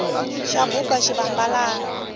xa buba xivambalani